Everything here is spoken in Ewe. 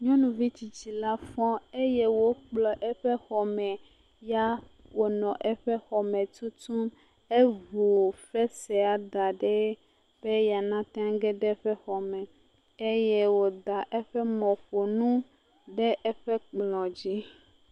Nyɔnuvi tsitsi la fɔ eye wòkplɔ eƒe xɔ me eye wòle anyigba tutum eŋu fesrea da ɖi be ya nate ŋu age ɖe eƒe xɔme eye wòda eƒe mɔƒonu ɖe eƒe kplɔ dzi.